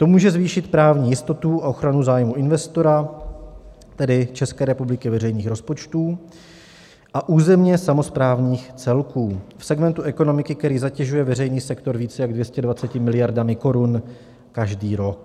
To může zvýšit právní jistotu a ochranu zájmů investora, tedy České republiky, veřejných rozpočtů a územně samosprávných celků v segmentu ekonomiky, který zatěžuje veřejný sektor více jak 220 miliardami korun každý rok.